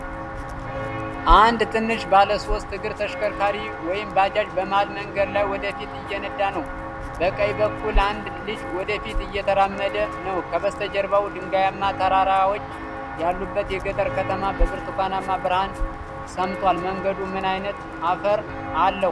አንድ ትንሽ ባለሶስት እግር ተሽከርካሪ (ባጃጅ) በመሀል መንገድ ላይ ወደ ፊት እየነዳ ነው። በቀኝ በኩል አንድ ልጅ ወደፊት እየተራመደ ነው። ከበስተጀርባው፣ ድንጋያማ ተራራዎች ያሉበት የገጠር ከተማ በብርቱካንማ ብርሃን ሰምጧል። መንገዱ ምን ዓይነት አፈር አለው?